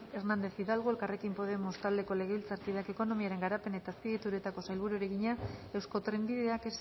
hernández hidalgo elkarrekin podemos taldeko legebiltzarkideak ekonomiaren garapen eta azpiegituretako sailburuari egina eusko trenbideak